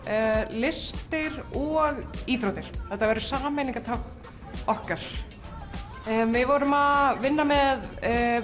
listir og íþróttir þetta verður sameiningartákn okkar við vorum að vinna með